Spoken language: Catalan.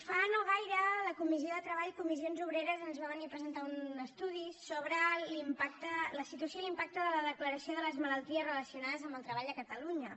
fa no gaire a la comissió de treball comissions obreres ens va venir a presentar un estudi sobre la situació i l’impacte de la declaració de les malalties relacionades amb el treball a catalunya